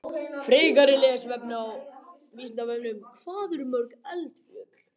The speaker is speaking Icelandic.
Frekara lesefni á Vísindavefnum: Hvað eru til mörg eldfjöll?